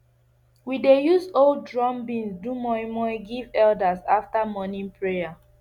we use old drum beans do moin moin give elders after morning prayer